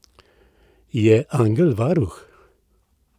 Je angel varuh?